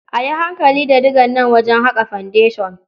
A yi hankali da digan nan wajen haƙa fendeshan.